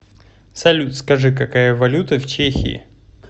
салют скажи какая валюта в чехии